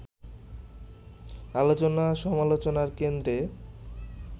আলোচনা-সমালোচনার কেন্দ্রে